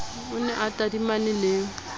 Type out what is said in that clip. o ne a tadimane le